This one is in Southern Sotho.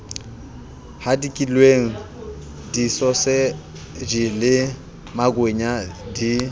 hadikilweng disoseji le makwenya di